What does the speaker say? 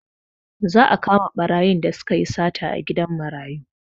Za a kama ɓarayin da sukayi sata a gidan marayu